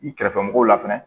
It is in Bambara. I kɛrɛfɛ mɔgɔw la fɛnɛ